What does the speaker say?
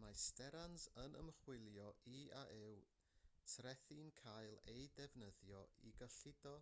mae sterans yn ymchwilio i a yw trethi'n cael eu defnyddio i gyllido